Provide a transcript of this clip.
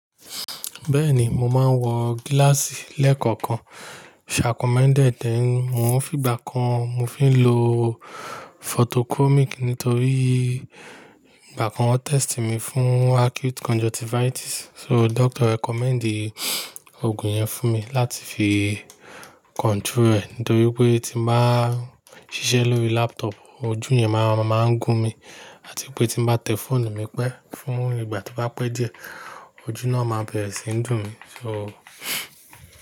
Bẹ́ẹ̀ni, mo máa ń wọ gíláàsì lẹ́kọ̀ọ̀kan. Shacommended then. Mo ń fi ìgbà kan mo fi ń lo photochromic nítorí ìgbà kan wọ́n test mi fún acute conjunctivitis. So doctor recommend Ògùn yẹn fún mi láti fi control rẹ̀ nítorí pé tí mo bá ṣiṣẹ́ lórí laptop, ojú yẹn máa ń máa ń gún mi àti pé tí mo bá tẹ fóònù mi pẹ́ fún ìgbà tí ó bá pẹ́ díẹ̀, ojú náà máa bẹ̀rẹ̀ sí ń dùn mí. So.